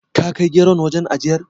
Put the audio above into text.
Ka kai geron wajen ajiyar?